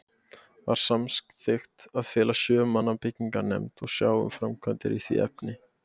Var samþykkt að fela sjö manna byggingarnefnd að sjá um framkvæmdir í því efni.